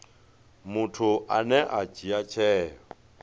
muthu ane a dzhia tsheo